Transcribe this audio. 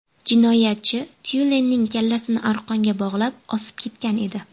Jinoyatchi tyulenning kallasini arqonga bog‘lab, osib ketgan edi.